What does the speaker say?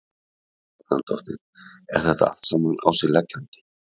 Helga Arnardóttir: Er þetta allt saman á sig leggjandi?